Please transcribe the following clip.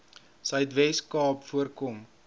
suidwes kaap voorkom